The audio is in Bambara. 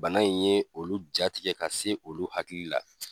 Bana in ye olu jatigɛ ka se olu hakili la.